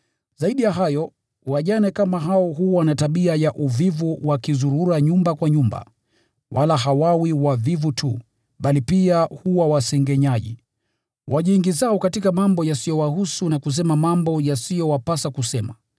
Zaidi ya hayo, wajane kama hao huwa na tabia ya uvivu wakizurura nyumba kwa nyumba, wala hawawi wavivu tu, bali pia huwa wasengenyaji, wajiingizao katika mambo yasiyowahusu na kusema mambo yasiyowapasa kusema.